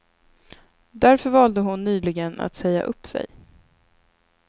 Därför valde hon nyligen att säga upp sig.